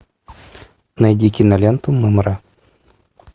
найди киноленту мымра